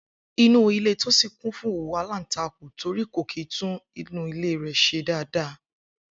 Inú ilé Tósìn kún fún owú aláǹtakùn nítorí kò kìí tún ilé s̩e dédé